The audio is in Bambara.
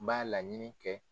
N b'a laɲini kɛ